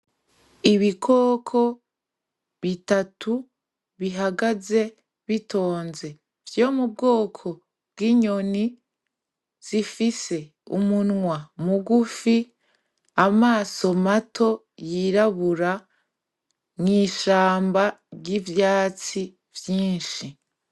Ibikoko bitatu bihagaze bitonze vy'ubwoko bw'inyoni zifise umunwa mugufi, amaso mato yirabura mw' ishamba ry'ivyatsi vyinshi.